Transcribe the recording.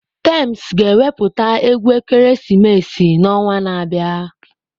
Tems ga-ewepụta egwu ekeresimesi n'ọnwa na-abịa.